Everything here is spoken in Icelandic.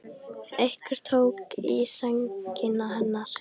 Einhver tók í sængina hennar.